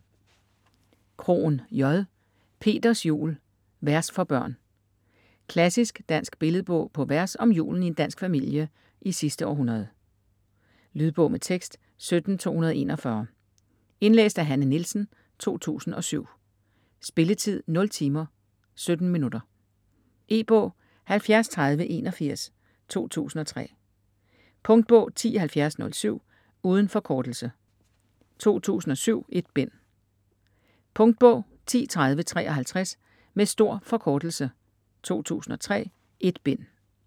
Krohn, J.: Peters jul: vers for børn Klassisk dansk billedbog på vers om julen i en dansk familie i sidste århundrede. Lydbog med tekst 17241 Indlæst af Hanne Nielsen, 2007. Spilletid: 0 timer, 17 minutter. E-bog 703081 2003. Punktbog 107007. Uden forkortelse. 2007. 1 bind. Punktbog 103053. Med stor forkortelse. 2003. 1 bind.